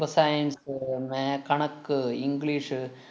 ഇപ്പൊ science അ് മാ~ കണക്ക്, english ഷ്